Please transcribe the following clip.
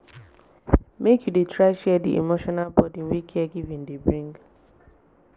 make you dey try share di emotional burden wey caregiving dey bring.